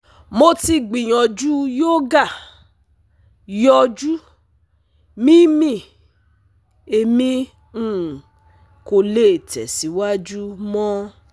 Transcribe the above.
Mo ti gbiyanju yoga, yọju, mimi… Emi um ko le tẹsiwaju mọ